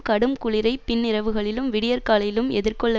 கடும் குளிரை பின்னிரவுகளிலும் விடியற்காலையிலும் எதிர்கொள்ள